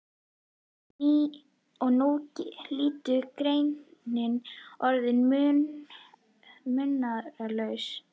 Og nú eru litlu greyin orðin munaðarlaus.